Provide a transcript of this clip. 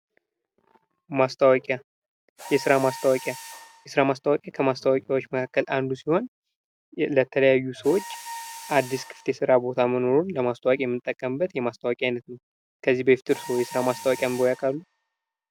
ማስታወቂያ የስራ ማስታወቂያ ከማስታወቂያዎች መካከል አንዱ ሲሆን ለተለያዩ ሰዎች አዱስ ክፍት የስራ ቦታ መኖሩን ለማስታወቅ የምንጠቀምበት የማረስታወቂያ አይነት ነው። ከዚህ በፊት እርስዎ የስራ ማስታወቂያ አንብበው ያውቃሉ?